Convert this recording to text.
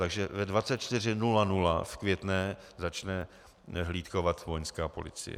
Takže ve 24.00 v Květné začne hlídkovat Vojenská policie.